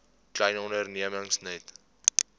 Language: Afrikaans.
klein ondernemings net